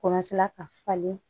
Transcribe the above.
ka falen